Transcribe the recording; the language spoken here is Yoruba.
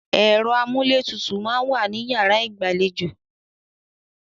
Ẹ̀rọ amúlétutù máa ń wà ní yàrá ìgbàlejò.